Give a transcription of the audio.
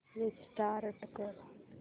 restart कर